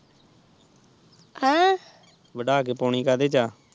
ਵਾਧਾ ਤੇ ਪਾਣੀ ਕੀੜੇ ਚ ਆ